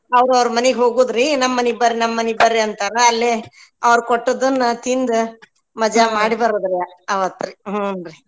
ಅವ್ರ ಅವ್ರ ಮನಿಗ್ ಹೋಗೋದ್ರೀ ನಮ್ ಮನಿಗ ಬರ್ರಿ ನಮ್ ಮನಿಗ ಬರ್ರಿ ಅಂತರ್ರಾ ಅಲ್ಲೇ ಅವ್ರ ಕೊಟ್ಟಿದನ್ನ ತಿಂದು ಮಜಾಮಾಡಿ ಬರೂದ್ ರ್ರೀ ಅವತ್ರಿ ಹ್ಞೂನ್ರಿ.